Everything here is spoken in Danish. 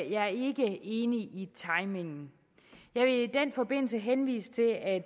jeg er ikke enig i timingen jeg vil i den forbindelse henvise til at